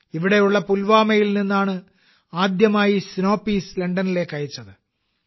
ഇവിടെയുള്ള പുൽവാമയിൽ നിന്നാണ് ആദ്യമായി സ്നോ പീസ് ലണ്ടനിലേക്ക് അയച്ചത്